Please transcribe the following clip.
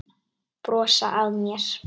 Brosa að mér!